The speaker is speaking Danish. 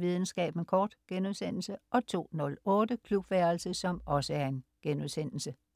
Videnskaben kort* 02.08 Klubværelset*